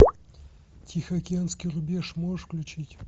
тихоокеанский рубеж можешь включить